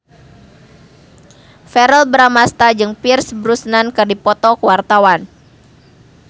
Verrell Bramastra jeung Pierce Brosnan keur dipoto ku wartawan